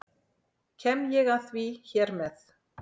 Kem ég að því hér með.